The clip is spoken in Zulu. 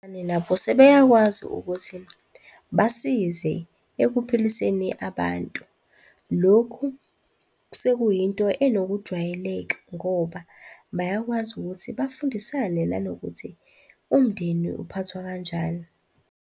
nabo sebeyakwazi ukuthi basize ekuphiliseni abantu. Lokhu sekuyinto enokujwayeleka ngoba bayakwazi ukuthi bafundisane nanokuthi umndeni uphathwa kanjani.